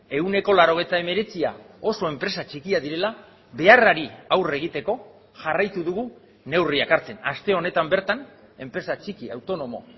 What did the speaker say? ehuneko laurogeita hemeretzia oso enpresa txikiak direla beharrari aurre egiteko jarraitu dugu neurriak hartzen aste honetan bertan enpresa txiki autonomo